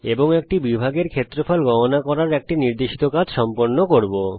এবং একটি বিভাগের ক্ষেত্রফল গণনা করার একটি নির্দেশিত কাজ সম্পন্ন করব